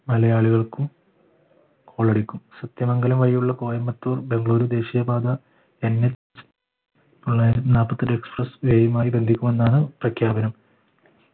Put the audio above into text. മലയാളികൾക്കും കോളടിക്കും സത്യമംഗലം വഴിയുള്ള കോയമ്പത്തൂർ ബംഗളൂരു ദേശീയപാത NH express way ആയി ബന്ധിക്കുമെന്നാണ് പ്രഖ്യാപനം